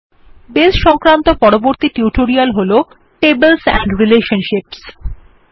base সংক্রান্ত পরবর্তী tutorial হল টেবলস এন্ড রিলেশনশিপসহ